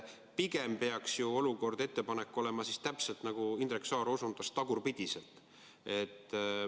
Pigem peaks ju olukord ettepaneku järgi olema täpselt nii, nagu Indrek Saar osundas, tagurpidiselt.